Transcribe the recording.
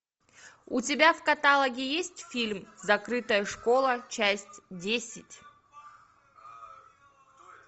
у тебя в каталоге есть фильм закрытая школа часть десять